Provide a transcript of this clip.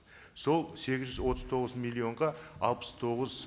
сол сегіз жүз отыз тоғыз миллионға алпыс тоғыз